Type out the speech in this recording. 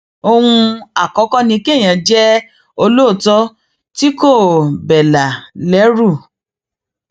ohun àkọkọ ni kéèyàn jẹ olóòótọ tí kò bẹlà lẹrú